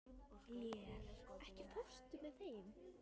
Lér, ekki fórstu með þeim?